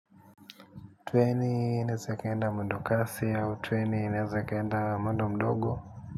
Treni inaweza ikaenda mwendokasi au treni inaeza ikaenda mwendo mdogo.